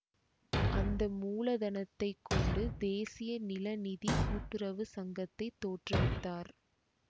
அந்த மூலதனத்தைக் கொண்டு தேசிய நில நிதி கூட்டுறவு சங்கத்தைத் தோற்றுவித்தார்